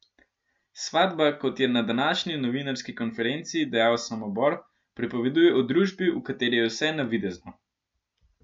Svatba, kot je na današnji novinarski konferenci dejal Samobor, pripoveduje o družbi, v kateri je vse navidezno.